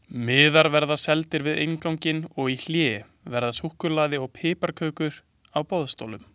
Miðar verða seldir við innganginn og í hléi verður súkkulaði og piparkökur á boðstólum.